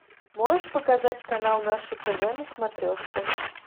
можешь показать канал наше тв на смотрешке